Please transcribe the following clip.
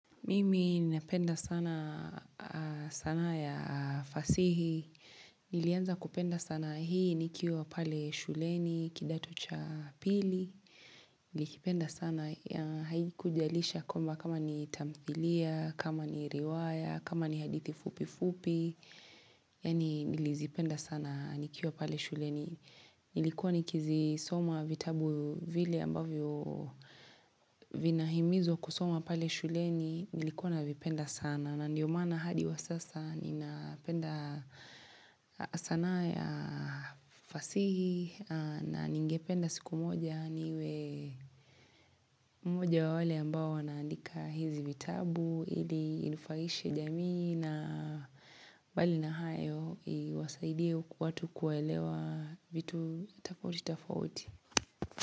Mimi napenda sana sanaa ya fasihi, nilianza kupenda sanaa hii nikiwa pale shuleni kidato cha pili Nilikipenda sana ya haikujalisha kwamba kama ni tamthilia, kama ni riwaya, kama ni hadithi fupi fupi Yani nilizipenda sana nikiwa pale shuleni Nilikuwa nikizisoma vitabu vile ambavyo vina himizo kusoma pale shuleni Nilikuwa na vipenda sana na ndiyo maana hadi wa sasa ninapenda sanaa ya fasihi na ningependa siku moja niwe moja wa wale ambao wanaandika hizi vitabu ili inufaishe jamii na bali na hayo iwasaidie watu kuwaelewa vitu tofauti tofauti.